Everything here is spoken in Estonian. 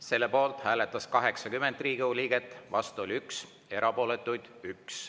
Selle poolt hääletas 80 Riigikogu liiget, vastu 1, erapooletuid on 1.